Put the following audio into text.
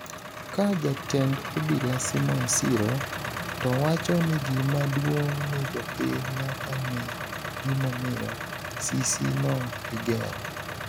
ka jatend obila Simon Siro towacho ni gima duong ni jopiny nyaka ng'e gimomiyo sisi no igero